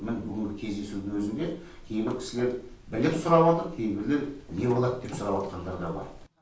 міні бүгінгі кездесудің өзінде кейбір кісілер біліп сұраватыр кейбіреулер не болады деп сұраватқандар да бар